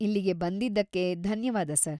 ಇಲ್ಲಿಗೆ ಬಂದಿದ್ದಕ್ಕೆ ಧನ್ಯವಾದ ಸರ್.